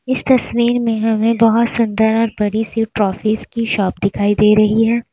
इस तस्वीर में हमें बहुत सुंदर और बड़ी सी ट्राफीज की शॉप दिखाई दे रही है।